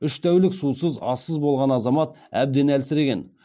үш тәулік сусыз ассыз болған азамат әбден әлсіреген